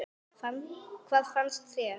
Hvað fannst þér?